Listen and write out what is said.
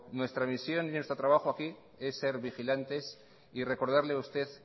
nuestra misión y nuestro trabajo aquí es ser vigilantes y recordarle a usted